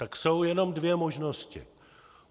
Tak jsou jenom dvě možnosti.